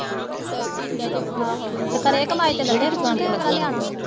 ਆਹੋ ਤੇ ਕਰੇ ਕਮਾਈ ਤੇ ਲਵੇ ਫੋਨ ਉਹ ਕਿਹੜਾ ਨਿਆਣਾ ਆ।